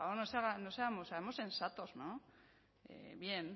hombre o sea por favor no seamos seamos sensatos no bien